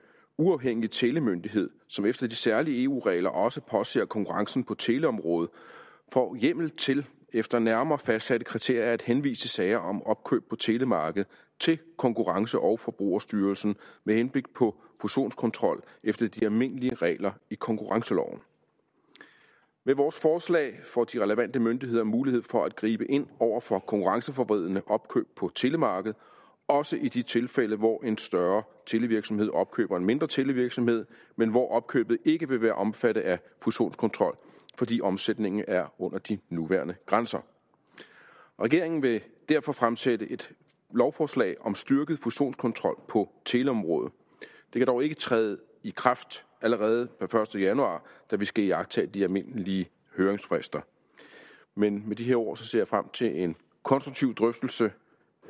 uafhængige telemyndighed som efter de særlige eu regler også påser konkurrencen på teleområdet får hjemmel til efter nærmere fastsatte kriterier at henvise sager om opkøb på telemarkedet til konkurrence og forbrugerstyrelsen med henblik på fusionskontrol efter de almindelige regler i konkurrenceloven med vores forslag får de relevante myndigheder mulighed for at gribe ind over for konkurrenceforvridende opkøb på telemarkedet også i de tilfælde hvor en større televirksomhed opkøber en mindre televirksomhed men hvor opkøbet ikke vil være omfattet af fusionskontrol fordi omsætningen er under de nuværende grænser regeringen vil derfor fremsætte et lovforslag om styrket fusionskontrol på teleområdet det kan dog ikke træde i kraft allerede per første januar da vi skal iagttage de almindelige høringsfrister med med de her ord ser jeg frem til en konstruktiv drøftelse